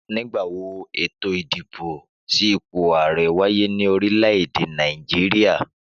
Nígbà wo eto ìdìbò sí ipò àrẹ wáyé ní orílè èdè Nàìjíríà?